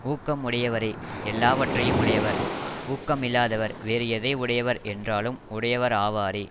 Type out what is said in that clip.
ஊக்கம் உடையவரே எல்லாவற்றையும் உடையவர் ஊக்கம் இல்லாதவர் வேறு எதை உடையவர் என்றாலும் உடையவர் ஆவாரே